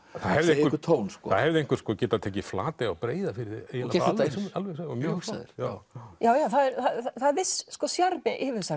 einhvern tón það hefði einhver getað tekið Flatey á Breiðafirði eiginlega bara alveg eins já já það er viss sjarmi